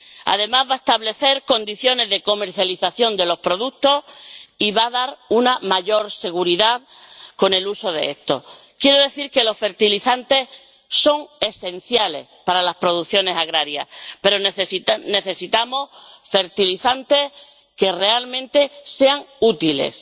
Además, va a establecer condiciones para la comercialización de los productos y va a proporcionar más seguridad en el uso de estos. Quiero decir que los fertilizantes son esenciales para las producciones agrarias, pero necesitamos fertilizantes que realmente sean útiles